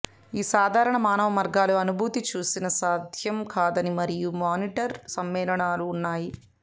ఈ సాధారణ మానవ మార్గాలు అనుభూతి చూసిన సాధ్యం కాదని మరియు మానిటర్ సమ్మేళనాలు ఉన్నాయి